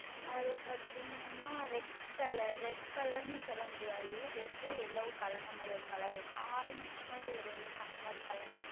அதில் பார்த்தீர்கள் என்றால் Red Color Red Color என்று சொல்ல முடியாது Red உம் Yellow உம் கலந்த மாதிரி ஓர் Color இருக்கிறது Orange மாதிரி வரும் அல்லவா அந்த மாதிரி Color